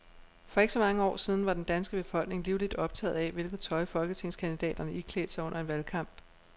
For ikke så mange år siden var den danske befolkning livligt optaget af, hvilket tøj folketingskandidaterne iklædte sig under en valgkamp.